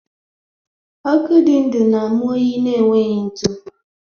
Ọkụ dị ndụ na-amụ oyi na-enweghị ntụ